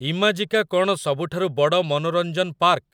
Imagica କ'ଣ ସବୁଠାରୁ ବଡ଼ ମନୋରଂଜନ ପାର୍କ ?